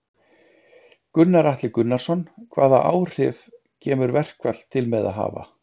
Gunnar Atli Gunnarsson: Hvaða áhrif kemur verkfall til með að hafa?